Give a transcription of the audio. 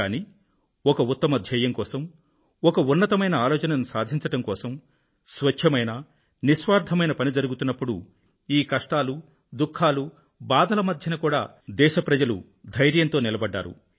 కానీ ఒక ఉత్తమ ధ్యేయం కోసం ఒక్క ఉన్నతమైన ఆలోచనను సాధించడం కోసం స్వచ్ఛమైన నిస్వార్ధమైన పని జరుగుతున్నప్పుడు ఈ కష్టాలు దుఖం బాధల మధ్య కూడా దేశ ప్రజలు ధైర్యంతో నిలబడ్డారు